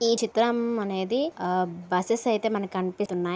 ఈ చిత్రం అనేది బసేస్ అయితే మనకి కనిపిస్తునాయి.